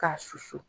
K'a susu